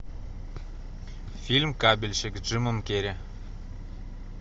фильм кабельщик с джимом керри